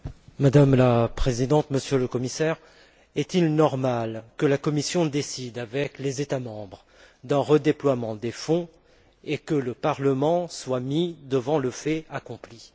Madame la Présidente, Monsieur le Commissaire, est il normal que la Commission décide avec les États membres d'un redéploiement des fonds et que le Parlement soit mis devant le fait accompli?